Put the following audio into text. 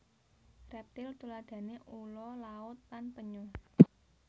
Reptil tuladhane ula laut lan penyu